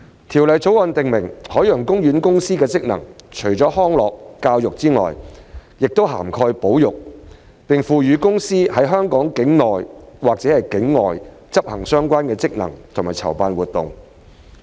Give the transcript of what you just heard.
《條例草案》訂明海洋公園公司的職能除了康樂、教育外，亦涵蓋保育，並賦予海洋公園公司在香港境內或境外執行相關職能及籌辦活動。